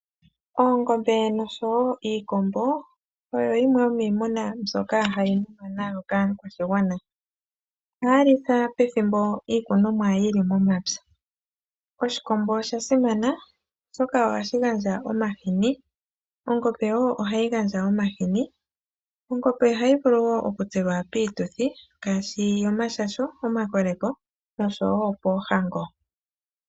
Oongombe nosho woo iikombo oyo yimwe yimiimuna mbyoka hayi munwa nawa kaakwashigwana. Oha ya lithwa pethimbo iikunomwa yili momapya. Oshikombo osha simana oshoka ohashi gandja omahini, nongombe . Ongombe ohayi vulu oku tselwa piituthi ngaashi: yomashasho, omakoleko nosho woo poohango.